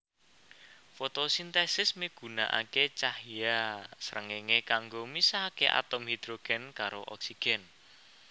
Fotosintesis migunakaké cahya srengéngé kanggo misahaké atom hidrogen karo oksigen